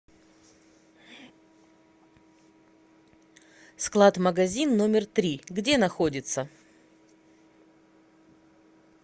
склад магазин номер три где находится